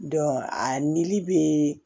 a nili bɛ